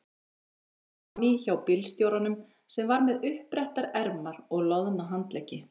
Sat frammí hjá bílstjóranum sem var með uppbrettar ermar og loðna handleggi.